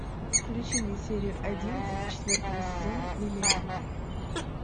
включи мне серию одиннадцать четвертого сезона миллиарды